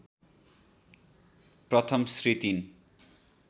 प्रथम श्री ३